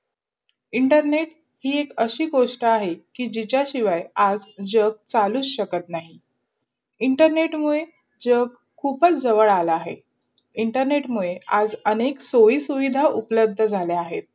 internet हे एक अशी गोष्टी आहे की जिशा शिवय आज जग चालूचं शकत नही. internet मूढे जग खूपाच झवद् आले अहे. internet मुडे आज सोयीसुविधा अपलब्ध झाले अहे.